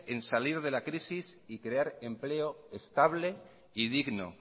en salir de la crisis y crear empleo estable y digno